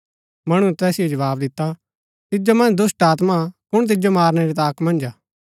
मणुऐ तैसिओ जवाव दिता तिजो मन्ज दुष्‍टात्मा हा कुण तिजो मारनै री ताक मन्ज हा